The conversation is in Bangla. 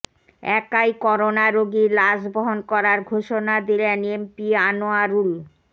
একাই করোনা রোগীর লাশ বহন করার ঘোষণা দিলেন এমপি আনোয়ারুল